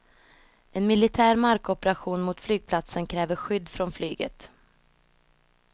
En militär markoperation mot flygplatsen kräver skydd från flyget.